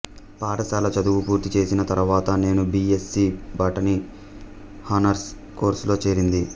పాఠశాల చదువు పూర్తిచేసిన తరువాత నేను B S C botany honours కోర్సులో చేరింది